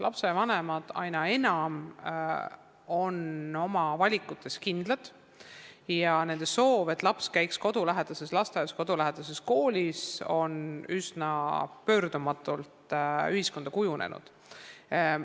Lastevanemad on aina enam oma valikutes kindlad ja nende soov, et laps käiks kodulähedases lasteaias ja koolis, on üsna pöördumatult ühiskonnas välja kujunenud.